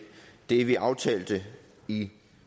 det vi aftalte i